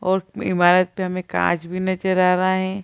और ईमारत पे हमे कांच भी नज़र आ रहा हैं।